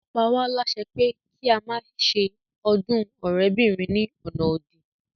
Ó pa wá lásẹ pé kí a má se ọdún ọ̀rẹ́bìnrin ní ọ̀nà òdì